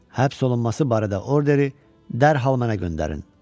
Həbs olunması barədə orderi dərhal mənə göndərin.